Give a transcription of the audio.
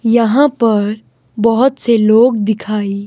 यहां पर बहोत से लोग दिखाई--